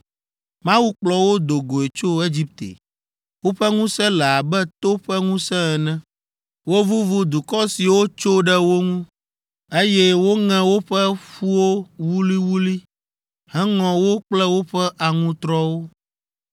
“Mawu kplɔ wo do goe tso Egipte. Woƒe ŋusẽ le abe to ƒe ŋusẽ ene. Wovuvu dukɔ siwo tso ɖe wo ŋu, eye woŋe woƒe ƒuwo wuliwuli heŋɔ wo kple woƒe aŋutrɔwo.